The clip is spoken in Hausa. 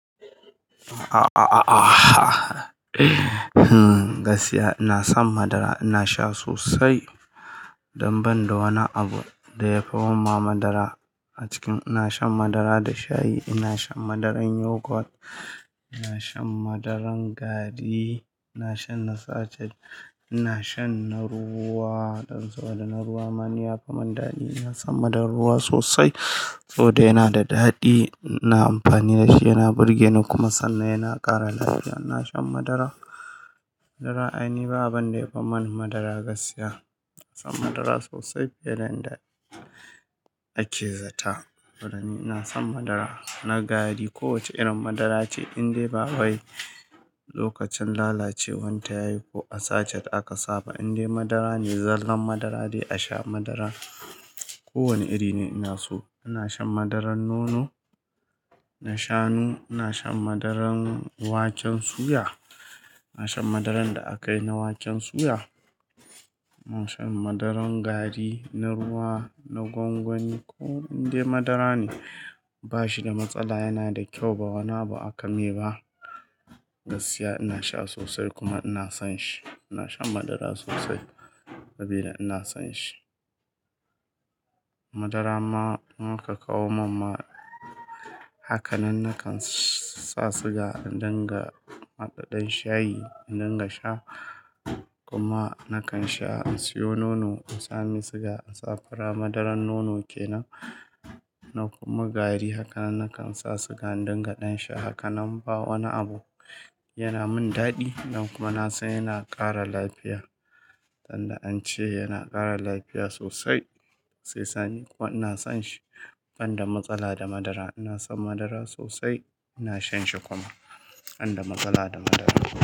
A-a-a, gaskiya ina son madara. Ina sha sosai. Dan banda wani abu da ya fi mun ma madara a ciki. Ina shan madara da shayi, ina shan madaran yogurt, ina shan madaran gari, ina shan na sachet, ina shan na ruwa. Dan saboda na ruwa ma ni ya fi mun dadi. Ina son madaran ruwa sosai. Saboda yana da daɗi, ina amfani da shi yana burge ni kuma sannan yana ƙara lafiya. Ina shan madara. Madara aini babu abin da yafi man madara gaskiya. Ina son madara sosai fiye da inda ake zata. Don ni ina son madara. Na gari ko wace irin madara ce in dai babu ai lokacin lalacewar ta yayi ko a sachet aka saba. In dai madara ne, zallan madara dai, a sha madara. Ko wane iri ne ina so. Ina shan madaran nono, na shanu, ina shan madaran waken suya. Ina shan madaran da aka yi na waken suya. Ina shan madaran gari, na ruwa, na gwangwani. Ko indai madara ne, bashi da matsala yana da kyau ba wani abu aka mai ba. Gaskiya ina sha sosai kuma ina son shi. Ina shan madara sosai sabida ina son shi. Madara ma in aka ka kawo mun ma haka nan nakan sa siga in dinga haɗa ɗan shayi in dinga sha. Kuma nakan sha in siyo nono in sa mai siga in sa fura. Madaran nono kenan na kuma gari, Haka nan nakan sa siga in dinga ɗan sha. Haka nan ba wani abu yana mun daɗi sannan kuma na san yana ƙara lafiya. Dan da an ce yana ƙara lafiya sosai. Sesani kuwa ina son shi. Ban da matsala da madara. Ina son madara sosai, ina shan shi kuma. Ban da matsala da madara.